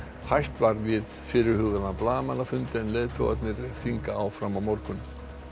hætt var við fyrirhugaðan blaðamannafund en leiðtogarnir funda áfram á morgun